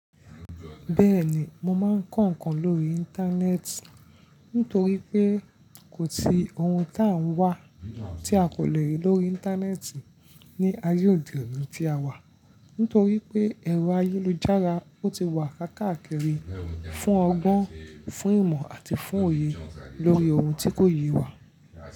Bẹ́ẹ̀ni, mo máa ń kọ́ ǹkan lórí Íńtánẹ́ẹ̀tì nítorí pé kò sí ohun tá ń wá tí a kò lè rí lórí Íńtánẹ́ẹ̀tì ní ayé òde òní tí a wà. Nítorí pé ẹ̀rọ ayélujára ó ti wà káàkiri fún ọgbọ́n, fún ìmọ̀ àti fún òye lórí ohun tí kò yé wa.